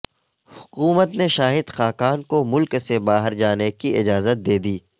حکومت نے شاہد خاقان کو ملک سے باہر جانے کی اجازت دے دی